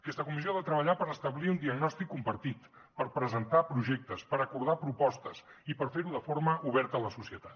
aquesta comissió ha de treballar per establir un diagnòstic compartit per presentar projectes per acordar propostes i per fer ho de forma oberta a la societat